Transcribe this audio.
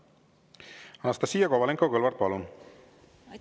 Anastassia Kovalenko-Kõlvart, palun!